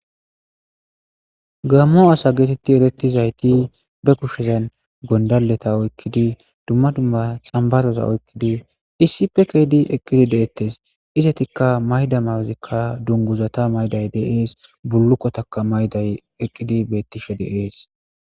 Gammo asa geetetti ereti zayti be kushezan gondaleta oykkidi dumma dumma xambaroza oykkidi iisipekdi eqqidi deettes izatikka mayda mawozikka dunguzata mayday deees bullukkotaka mayday eqqidi bettishe deees.